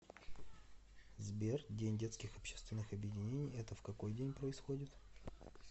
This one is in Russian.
сбер день детских общественных объединений это в какой день происходит